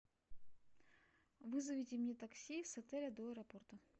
вызовите мне такси с отеля до аэропорта